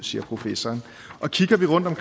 siger professoren kigger vi rundt om